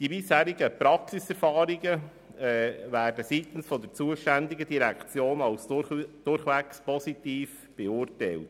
Die bisherigen Praxiserfahrungen werden seitens der zuständigen Direktionen als durchweg positiv beurteilt.